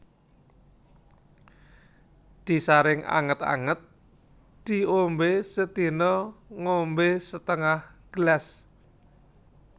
Disaring anget anget diombe sedina ngombe setengah gelas